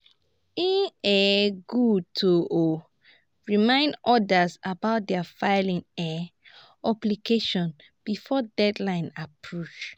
e um good to um remind others about their filing um obligations before deadline approach.